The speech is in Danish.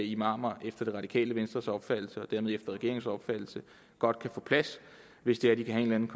imamer efter det radikale venstres opfattelse og dermed efter regeringens opfattelse godt kan få plads hvis det er de kan have en